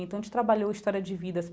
Então a gente trabalhou história de vidas.